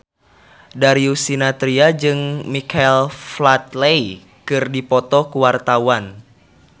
Darius Sinathrya jeung Michael Flatley keur dipoto ku wartawan